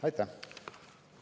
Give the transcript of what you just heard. Aitäh!